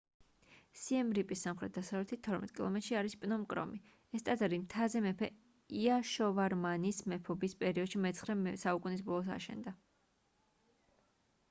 სიემ რიპის სამხრეთ-დასავლეთით 12 კილომეტრში არის პნომ კრომი ეს ტაძარი მთაზე მეფე იაშოვარმანის მეფობის პერიოდში მე-9 საუკუნის ბოლოს აშენდა